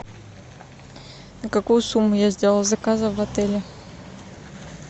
на какую сумму я сделала заказов в отеле